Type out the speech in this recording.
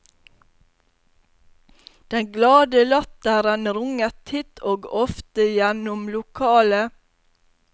Den glade latteren runget titt og ofte gjennom lokalet.